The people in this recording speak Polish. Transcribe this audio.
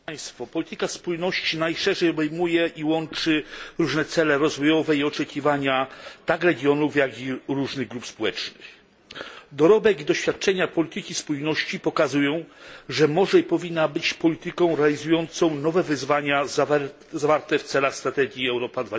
Panie przewodniczący! Polityka spójności najszerzej obejmuje i łączy różne cele rozwojowe i oczekiwania tak regionów, jak i różnych grup społecznych. Dorobek i doświadczenia polityki spójności pokazują, że może i powinna być ona polityką realizującą nowe wyzwania, zawarte w celach strategii Europa